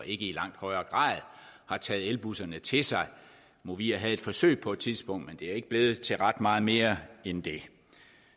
i langt højere grad har taget elbusserne til sig movia havde et forsøg på et tidspunkt men det er ikke blevet til ret meget mere end det